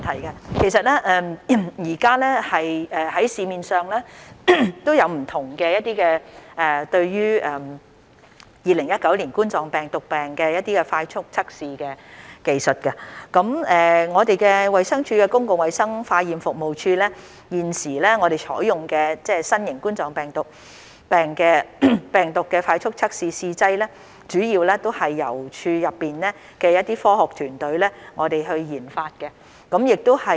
現時市面上有很多不同的2019冠狀病毒病快速測試技術，而衞生署公共衞生化驗服務處所採用的新型冠狀病毒病快速測試試劑，主要是由處內的科學團隊研發的。